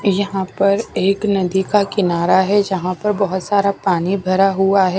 यहां पर एक नदी का किनारा है यहां पर बहुत सारा पानी भरा हुआ है।